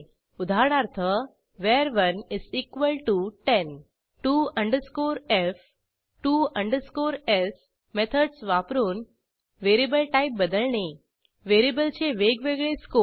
उदाहरणार्थ var110 to f to s methods वापरून variable type बदलणे व्हेरिएबलचे वेगवेगळे स्कोप